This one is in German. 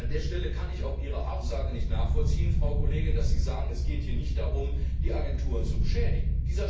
An dieser Stelle kann ich auch Ihre Aussage nicht nachvollziehen, Frau Kollegin, dass Sie sagen, es geht hier nicht darum, die Agenturen zu beschädigen.